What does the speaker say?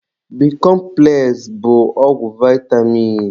Bikọmpụles bụ ọgwụ vaịtamin.